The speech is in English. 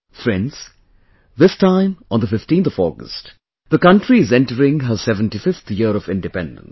Friends, this time on the 15th of August, the country is entering her 75th year of Independence